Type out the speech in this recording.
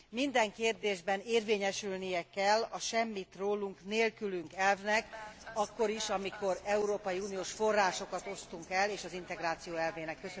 Minden kérdésben érvényesülnie kell a semmit rólunk nélkülünk elvnek akkor is, amikor Európai Uniós forrásokat osztunk el és az integráció elvének.